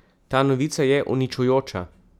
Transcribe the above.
Ta novica je uničujoča!